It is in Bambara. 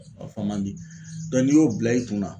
A fɔ man di n'i y'o bila i kunna